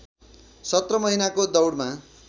सत्र महिनाको दौडमा